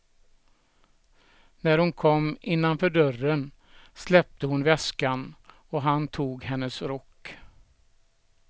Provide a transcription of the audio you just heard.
När hon kom innanför dörren släppte hon väskan och han tog hennes rock.